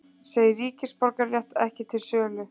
Segir ríkisborgararétt ekki til sölu